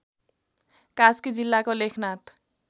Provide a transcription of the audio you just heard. कास्की जिल्लाको लेखनाथ